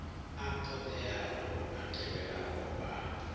a ṱoḓeaho a tevhelaho a